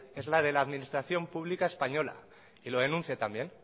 es la de la administración pública española y lo denuncie también